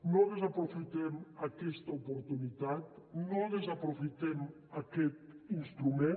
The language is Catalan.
no desaprofitem aquesta oportunitat no desaprofitem aquest instrument